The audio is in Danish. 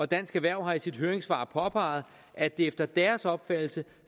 dansk erhverv har i sit høringssvar påpeget at der efter deres opfattelse